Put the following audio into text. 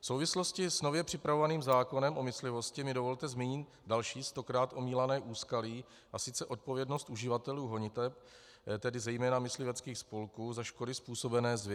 V souvislosti s nově připravovaným zákonem o myslivosti mi dovolte zmínit další stokrát omílané úskalí, a sice odpovědnost uživatelů honiteb, tedy zejména mysliveckých spolků, za škody způsobené zvěří.